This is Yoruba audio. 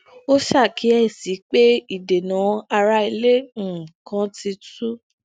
ó ṣakíyèsí pé idena ara ile um kan ti tu